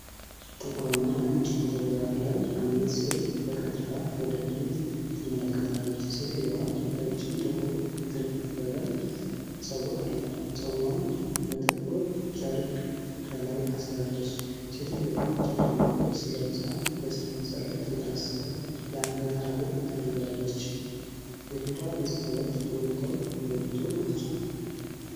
ጥቁርና ነጭ ፎቶግራፍ ላይ አንዲት ሴት በቀጥታ ወደ ፊት ትመለከታለች። ሴትየዋ ረጅም ጥቁር የተጠፈረ ጸጉር አላት። ፀጉሯን በጥቁር ጨርቅ ከላይ አስራለች። ሴትዮዋ ጨለማ ልብስ ለብሳ በሰንሰለት የታሰረ የአንገት ሀብል አድርጋለች። የፊቷ ገፅታዎች ጎልተው የወጡ ናቸው።